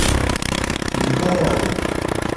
николаю